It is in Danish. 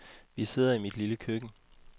Vi sidder i mit lille køkken.